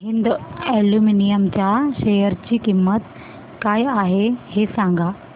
Hind aluminium च्या share ची किंमत काय आहे हे सांगा